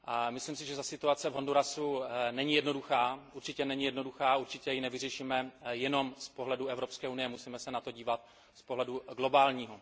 Myslím si, že ta situace v Hondurasu není jednoduchá, určitě ji nevyřešíme jenom z pohledu Evropské unie, musíme se na to dívat z pohledu globálního.